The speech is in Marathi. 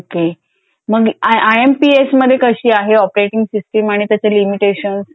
ओके. मग आय एम पी एस मध्ये कशी आहे ऑपरेटिंग सिस्टीम आणि त्याचे लिमिटेशन.